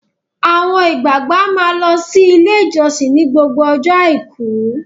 Àwọn ìgbàgbọ́ a máa lọ sí ilé ìjósìn ni gbogbo ọjọ́ Àìkú.